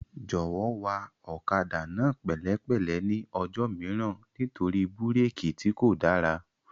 Jọ̀wọ́ wa ọ̀kadà náà pẹ̀lẹ́ pẹ̀lẹ́ ní ọjọ́ mìíràn nítorí búrékì tí kò dára